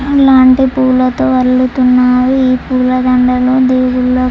ఇలాంటి పువ్వులతో అల్లుతున్నారు. ఈ పూలదండలు దేవుళ్లకు--